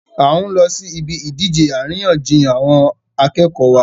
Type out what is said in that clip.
A n lọ sí ibi ìdíje àríyànjiyàn àwọn akẹ́kọ̀ọ́ wa